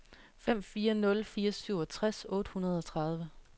fem fire nul fire syvogtres otte hundrede og tredive